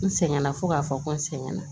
N sɛgɛnna fo k'a fɔ ko n sɛgɛnna